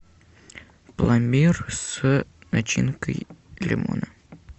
пломбир с начинкой лимона